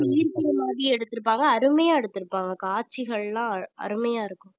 ஈர்க்கிற மாதிரி எடுத்துருப்பாங்க அருமையா எடுத்திருப்பாங்க காட்சிகள்லாம் அ~ அருமையா இருக்கும்